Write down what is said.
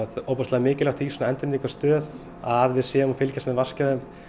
mikilvægt í svona endurnýtingastöð að við séum að fylgjast með vatnsgæðum